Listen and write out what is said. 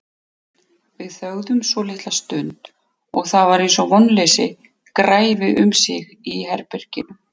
Við þögðum svolitla stund og það var eins og vonleysi græfi um sig í herberginu.